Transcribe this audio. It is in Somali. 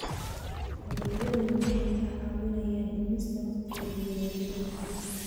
Adeegyadani waxay kaa caawinayaan dhimista wakhtiga diiwaangelinta.